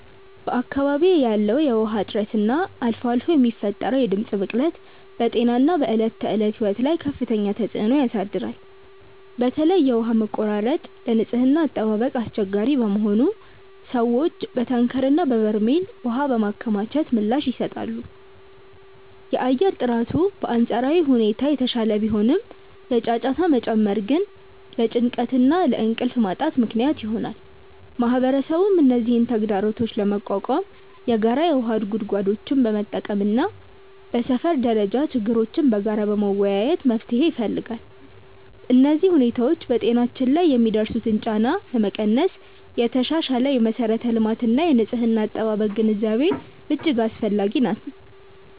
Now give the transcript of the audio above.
በአካባቢዬ ያለው የውሃ እጥረት እና አልፎ አልፎ የሚፈጠረው የድምፅ ብክለት በጤናና በዕለት ተዕለት ሕይወት ላይ ከፍተኛ ተጽዕኖ ያሳድራል። በተለይ የውሃ መቆራረጥ ለንጽህና አጠባበቅ አስቸጋሪ በመሆኑ ሰዎች በታንከርና በበርሜል ውሃ በማከማቸት ምላሽ ይሰጣሉ። የአየር ጥራቱ በአንጻራዊ ሁኔታ የተሻለ ቢሆንም፣ የጫጫታ መጨመር ግን ለጭንቀትና ለእንቅልፍ ማጣት ምክንያት ይሆናል። ማህበረሰቡም እነዚህን ተግዳሮቶች ለመቋቋም የጋራ የውሃ ጉድጓዶችን በመጠቀምና በሰፈር ደረጃ ችግሮችን በጋራ በመወያየት መፍትሄ ይፈልጋል። እነዚህ ሁኔታዎች በጤናችን ላይ የሚያደርሱትን ጫና ለመቀነስ የተሻሻለ የመሠረተ ልማትና የንጽህና አጠባበቅ ግንዛቤ እጅግ አስፈላጊ ነው።